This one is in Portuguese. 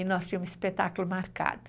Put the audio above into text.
E nós tínhamos um espetáculo marcado.